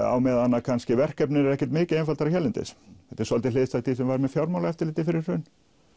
á meðan að kannski verkefnin eru ekkert mikið einfaldari hérlendis þetta er svolítið hliðstætt því sem var með Fjármálaeftirlitið fyrir hrun